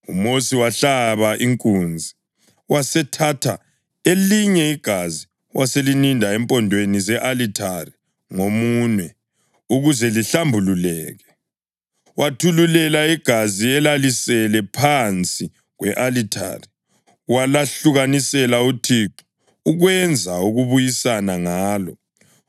UMosi wahlaba inkunzi, wasethatha elinye igazi, waselininda empondweni ze-alithare ngomunwe ukuze lihlambuluke. Wathululela igazi elalisele phansi kwe-alithari walahlukanisela uThixo, ukwenza ukubuyisana ngalo.